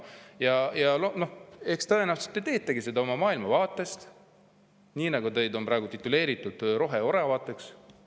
Ja noh, eks tõenäoliselt te teetegi seda oma maailmavaate põhjal, teid ju tituleeritakse roheoravateks.